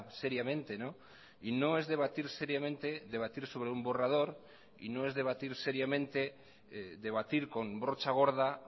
seriamente y no es debatir seriamente debatir sobre un borrador y no es debatir seriamente debatir con brocha gorda